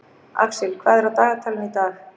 Axel, hvað er á dagatalinu í dag?